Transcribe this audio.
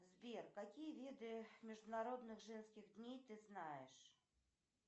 сбер какие виды международных женских дней ты знаешь